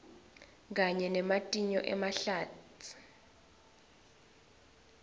kanye nematinyo emahlatsi